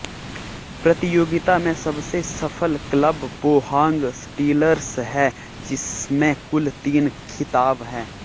प्रतियोगिता में सबसे सफल क्लब पोहांग स्टीलर्स है जिसमें कुल तीन खिताब हैं